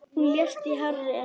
Hún lést í hárri elli.